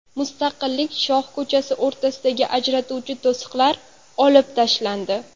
Mustaqillik shoh ko‘chasi o‘rtasidagi ajratuvchi to‘siqlar olib tashlandi.